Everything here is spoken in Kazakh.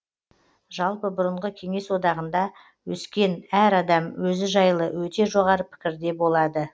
жалпы бұрынғы кеңес одағында өскен әр адам өзі жайлы өте жоғары пікірде болады